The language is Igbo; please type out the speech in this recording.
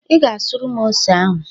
"Ị ga-asụrụ m ose ahụ"